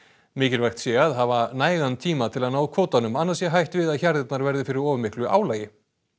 mikilvægt sé að hafa nægan tíma til að ná kvótanum annars sé hætt við að hjarðirnar verði fyrir of miklu álagi